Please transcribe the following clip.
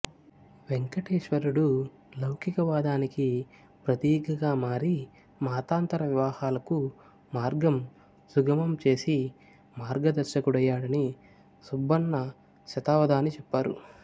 వెంకటేశ్వరుడు లౌకికవాదానికి ప్రతీకగా మారి మతాంతర వివాహాలుకు మార్గం సుగమం చేసి మార్గదర్శకుడయ్యాడని సుబ్బన్న శతావధాని చెప్పారు